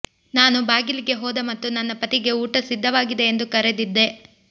ನಾನು ಬಾಗಿಲಿಗೆ ಹೋದ ಮತ್ತು ನನ್ನ ಪತಿಗೆ ಊಟ ಸಿದ್ಧವಾಗಿದೆ ಎಂದು ಕರೆದಿದ್ದೆ